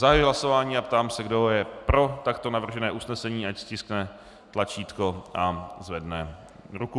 Zahajuji hlasování a ptám se, kdo je pro takto navržené usnesení, ať stiskne tlačítko a zvedne ruku.